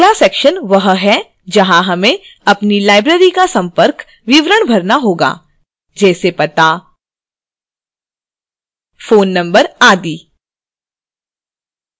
अगला section वह है जहां हमें अपनी librarys का संपर्क विवरण भरना होगा जैसे